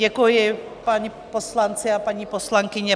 Děkuji, páni poslanci a paní poslankyně.